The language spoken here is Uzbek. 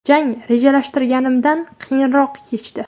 Jang rejalashtirganimdan qiyinroq kechdi.